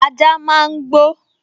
Ajá máa n gbó